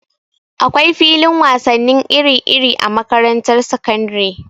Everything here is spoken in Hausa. Akwai filin wasannin iri-iri a makarantar sakandare.